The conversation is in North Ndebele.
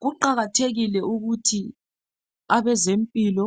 Kuqakathekile ukuthi abezempilo